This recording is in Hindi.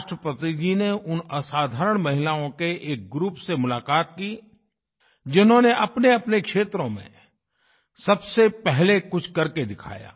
राष्ट्रपति जी ने उन असाधारण महिलाओं के एक ग्रुप से मुलाकात की जिन्होंने अपनेअपने क्षेत्रों में सबसे पहले कुछ करके दिखाया